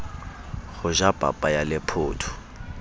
ho ja papa ya lephotho